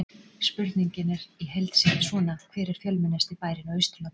Spurningin er heild sinni er svona: Hver er fjölmennasti bærinn á Austurlandi?